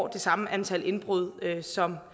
det samme antal indbrud som